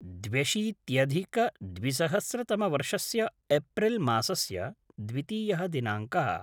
द्व्यशीत्यधिकद्विसहस्रतमवर्षस्य April मासस्य द्वितीयः दिनाङ्कः